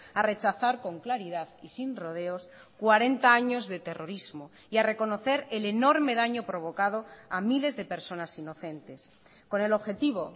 a rechazar con claridad y sin rodeos cuarenta años de terrorismo y a reconocer el enorme daño provocado a miles de personas inocentes con el objetivo